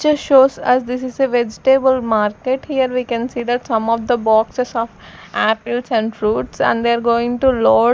picture shows us this is a vegetable market here we can see that some of the boxes of apples and fruits and they are going to load.